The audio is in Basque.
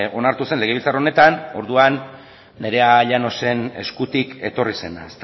onartu zen legebiltzar honetan orduan nerea llanosen eskutik etorri zena